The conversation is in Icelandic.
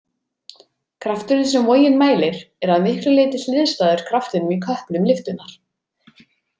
Krafturinn sem vogin mælir er að miklu leyti hliðstæður kraftinum í köplum lyftunnar.